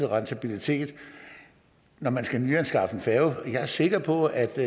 rentabilitet når man skal nyanskaffe en færge jeg er sikker på at der